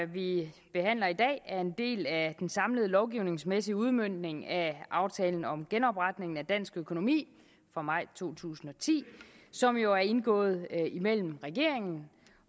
vi behandler i dag er en del af den samlede lovgivningsmæssige udmøntning af aftalen om genopretningen af dansk økonomi fra maj to tusind og ti som jo er indgået mellem regeringen